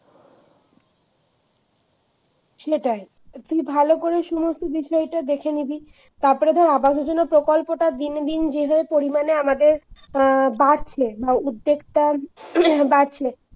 সেটাই তুই ভালো করে সমস্ত বিষয়টা দেখে নিবি। তারপরে ধর আবাস যোজনা প্রকল্পটা দিন দিন যেভাবে পরিমাণে আমাদের অ্যাঁ বাড়ছে বা উদ্যেকটা বাড়ছে